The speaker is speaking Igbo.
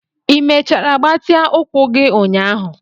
Ị mechara gbatịa ụkwụ gị ụnyaahụ?